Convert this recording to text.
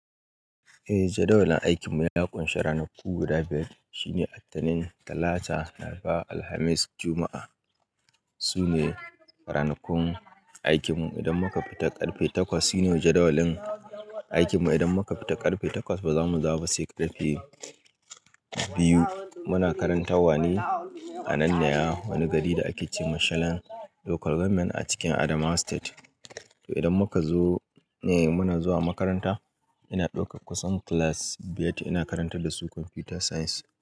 Eh jadawalin aikin mu ya ƙunshi ranaku guda biyar. Shi ne Attanin, Talata, Laraba, Alhamis, Juma'a. Su ne ranakun aikin mu idan muka fita ƙarfe takwas. Shi ne jadawalin aikin mu idan muka fita ƙarfe takwas, ba za mu dawo ba sai ƙarfe biyu. Muna karantawa ne a Nanya, wani gari da ake ce Mashalan Local Government a cikin Adamawa State. To idan muka zo, eh muna zuwa makaranta. Ina ɗaukar kusan class biyar. Ina karantar da su Computer Science.